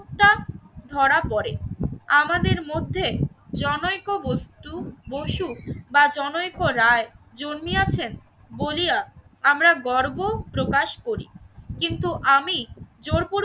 ধরা পড়ে আমাদের মধ্যে জনৈক বস্তু, বসু বা জনৈক রায় জন্মিয়াছেন বলিয়া আমরা গর্ব প্রকাশ করি কিন্তু আমি জোরপূ